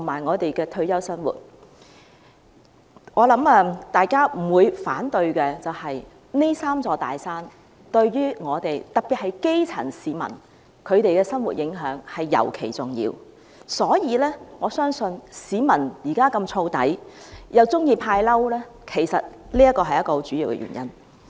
我想大家不會反對，這"三座大山"對於我們——特別是基層市民——的生活影響尤其重要，故此我相信市民現時那麼暴躁，又喜歡"派嬲"，其實這是很主要的原因。